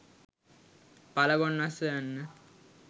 පල ගොන් වස්සෝ යන්න